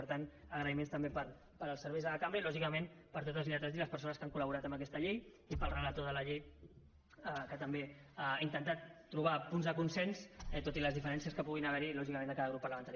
per tant agraïments també per als serveis de la cambra i lògicament per a tots els lletrats i les persones que han col·laborat en aquesta llei i per al relator de la llei que també ha intentat trobar punts de consens tot i les diferències que puguin haverhi lògicament de cada grup parlamentari